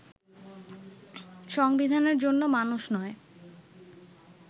সংবিধানের জন্য মানুষ নয়